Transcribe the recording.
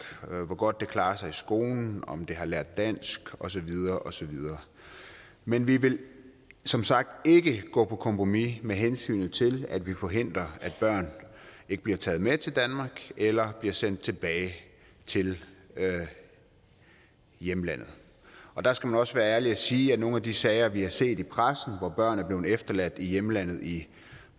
hvor godt det klarer sig i skolen om det har lært dansk og så videre og så videre men vi vil som sagt ikke gå på kompromis med hensynet til at vi forhindrer at børn ikke bliver taget med til danmark eller bliver sendt tilbage til hjemlandet der skal man også være ærlig og sige at nogle af de sager vi har set i pressen hvor børn er blevet efterladt i hjemlandet i